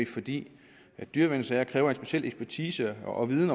fordi dyreværnssager kræver en speciel ekspertise og viden